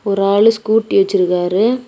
ஒரு ஆளு ஸ்கூட்டி வச்சிருக்காரு.